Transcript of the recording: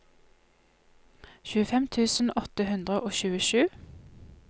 tjuefem tusen åtte hundre og tjuesju